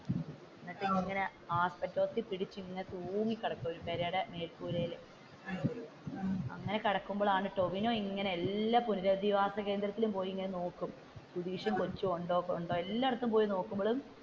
എന്നിട്ട് ഇങ്ങനെ പിടിച്ചു ഇങ്ങനെ തൂങ്ങി കിടയ്ക്കും പേരയുടെ മേൽ കൂരയിൽ അങ്ങനെ കിടക്കുമ്പോഴാണ്, ടോവിനോ ഇങ്ങനെ എല്ലാം പുനരുധിവാസ കേന്ദ്രത്തിൽ ചെന്ന് നോക്കും സുതീഷും കോച്ചും ഉണ്ടോ എല്ലായിടത്തും പോയി നടക്കുമ്പോഴും,